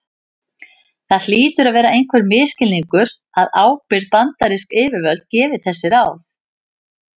það hlýtur að vera einhver misskilningur að ábyrg bandarísk yfirvöld gefi þessi ráð